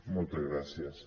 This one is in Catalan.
moltes gràcies